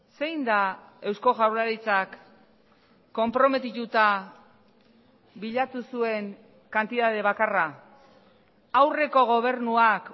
zein da eusko jaurlaritzak konprometituta bilatu zuen kantitate bakarra aurreko gobernuak